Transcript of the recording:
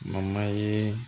ye